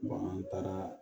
an taara